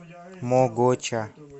могоча